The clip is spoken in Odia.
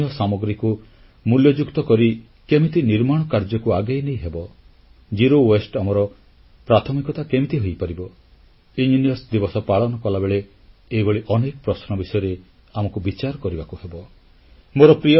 ସ୍ଥାନୀୟ ସାମଗ୍ରୀକୁ ମୂଲ୍ୟଯୁକ୍ତ କରି କେମିତି ନିର୍ମାଣ କାର୍ଯ୍ୟକୁ ଆଗେଇ ନେଇହେବ ଆମର ପ୍ରାଥମିକତା କେମିତି ବର୍ଜ୍ୟମୁକ୍ତ ହୋଇପାରିବ ଇଞ୍ଜିନିୟର୍ସ ଦିବସ ପାଳନ କଲାବେଳେ ଏହିଭଳି ଅନେକ ପ୍ରଶ୍ନ ବିଷୟରେ ଆମକୁ ବିଚାର କରିବାକୁ ହେବ